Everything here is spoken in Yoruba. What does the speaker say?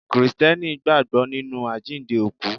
Krìsìtẹ́nì gbàgbọ́ nínú àjíǹde òkú.